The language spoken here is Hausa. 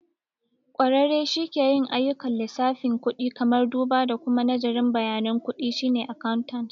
Ƙwararre shi ke yin ayyukan lissafin kudi, kamar duba da kuma nazarin bayanan kuɗi, shine accountant.